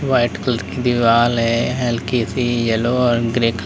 white colour की दीवाल है हल्की सी यलो और ग्रे कल--